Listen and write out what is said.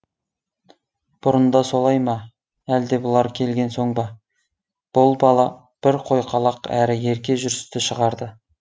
бұрын да солай ма әлде бұлар келген соң ба бұл бала бір қойқалақ әрі ерке жүрісті шығарды